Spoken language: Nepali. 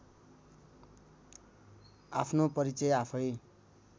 आफ्नो परिचय आफैँ